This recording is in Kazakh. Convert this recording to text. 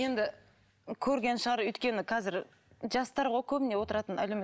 енді көрген шығар өйткені қазір жастар ғой көбіне отыратын